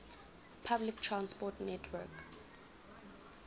public transport network